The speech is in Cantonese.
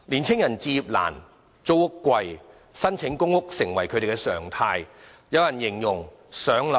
青年人置業難、租屋貴，於是申請公屋便成為他們的常態。